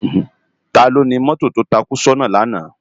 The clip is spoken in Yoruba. Táló ni mòtó tó tákú sòná làná?